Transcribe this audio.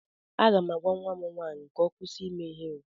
Aga m agwa nwa m nwaanyị ka ọ kwụsị ime ihere